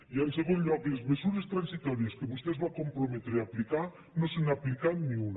i en segon lloc de les mesures transitòries que vostè es va comprometre a aplicar no se n’ha aplicat ni una